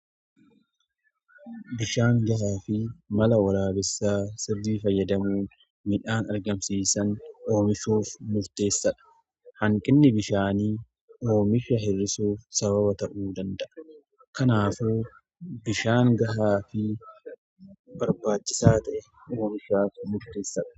Bishaan gahaa fi mala walaabaa isaa sirrii fayyadamuun midhaan argamsiisan oomishuuf murteessadha. Hanqinni bishaanii oomisha hir'isuuf sababa ta'uu danda'a. Kanaafuu bishaan gahaa fi barbaachisaa ta'e oomishuuf murteessadha.